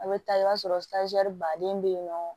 A bɛ taa i b'a sɔrɔ baden bɛ yen nɔ